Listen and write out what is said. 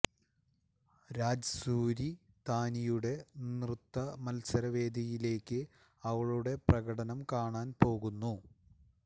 രാജ് സൂരി താനിയുടെ നൃത്ത മത്സര വേദിയിലേക്ക് അവളുടെ പ്രകടനം കാണാൻ പോകുന്നു